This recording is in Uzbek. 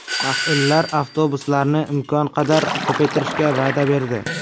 Mas’ullar avtobuslarni imkon qadar ko‘paytirishga va’da berdi.